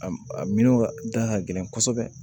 A a minɛnw ka da ka gɛlɛn kosɛbɛ